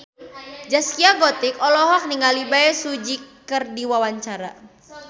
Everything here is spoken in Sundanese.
Zaskia Gotik olohok ningali Bae Su Ji keur diwawancara